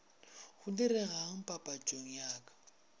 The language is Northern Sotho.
go diregang papatšong ya ka